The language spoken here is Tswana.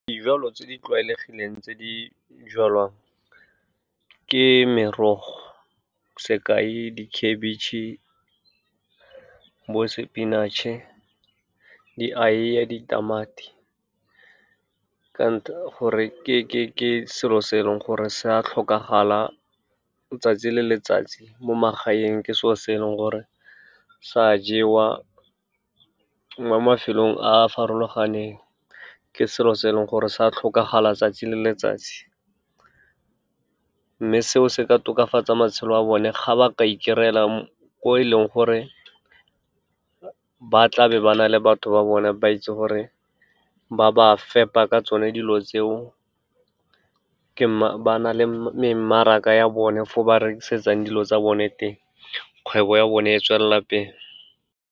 Dijalo tse di tlwaelegileng tse di jalwang ke merogo, sekai dikhabetšhe, bo sepinatšhe, dieiye, ditamati. Gore ke selo se e leng gore se a tlhokagala 'tsatsi le letsatsi mo magaeng, ke selo se e leng gore sa jewa, mo mafelong a farologaneng ke selo se e leng gore sa tlhokagala 'tsatsi le letsatsi. Mme seo se ka tokafatsa matshelo a bone ga ba ka e kry-lea ko e leng gore ba tla be ba na le batho ba bone, ba itse gore ba ba fepa ka tsone dilo tseo, ba na le memmaraka ya bone for ba rekisetsang dilo tsa bone teng, kgwebo ya bone e tswelela pele.